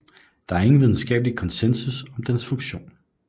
Der er ingen videnskabelig konsensus om deres funktion